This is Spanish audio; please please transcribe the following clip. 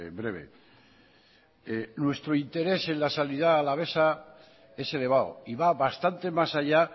breve nuestro interés en la sanidad alavesa es elevado y va bastante más allá